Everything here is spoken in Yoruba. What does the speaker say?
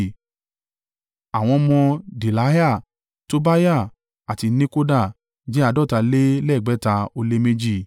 Àwọn ọmọ Delaiah, Tobiah àti Nekoda jẹ́ àádọ́ta lé lẹ́gbẹ̀ta ó lé méjì (652).